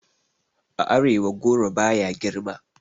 A arewa goro baya girma